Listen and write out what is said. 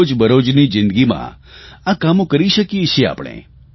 રોજબરોજની જીંદગીમાં આ કામો કરી શકીએ છીએ આપણે